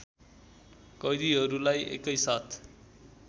कैदीहरुलाई एकैसाथ